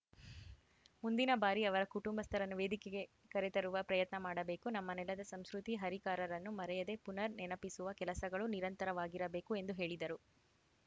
ಮುಂದಿನ ಬಾರಿ ಅವರ ಕುಟುಂಬಸ್ಥರನ್ನು ವೇದಿಕೆಗೆ ಕರೆತರುವ ಪ್ರಯತ್ನ ಮಾಡಬೇಕು ನಮ್ಮ ನೆಲದ ಸಂಸ್ಕೃತಿ ಹರಿಕಾರರನ್ನು ಮರೆಯದೇ ಪುನರ್‌ ನೆನಪಿಸುವ ಕೆಲಸಗಳು ನಿರಂತರವಾಗಿರಬೇಕು ಎಂದು ಹೇಳಿದರು